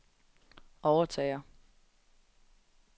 overtager